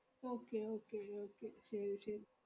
okay okay okay ശെരി ശെ~